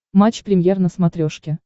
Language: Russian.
матч премьер на смотрешке